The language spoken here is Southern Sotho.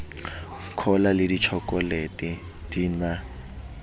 cola le ditjhokolete di na